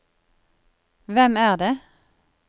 hvem er det